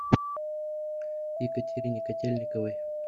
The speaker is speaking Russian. екатерине котельниковой